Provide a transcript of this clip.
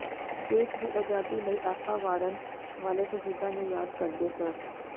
ਦੇਸ਼ ਦੀ ਆਜ਼ਾਦੀ ਲਈ ਆਪਾ ਵਾਰਨ ਵਾਲੇ ਸ਼ਹੀਦਾਂ ਨੂੰ ਯਾਦ ਕਰਦੇ ਸ